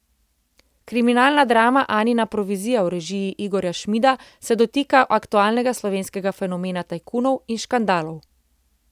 Kriminalna drama Anina provizija v režiji Igorja Šmida se dotika aktualnega slovenskega fenomena tajkunov in škandalov.